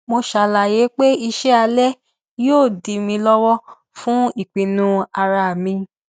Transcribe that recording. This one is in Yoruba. mo ṣàlàyé pé iṣẹ alẹ yóò dí mi lówó fún ìpinnu ara mi